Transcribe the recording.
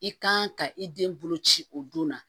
I kan ka i den bolo ci o don na